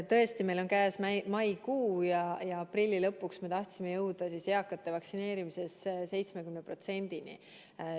Tõesti, meil on käes maikuu ja aprilli lõpuks me tahtsime jõuda eakate vaktsineerimisega 70%-ni.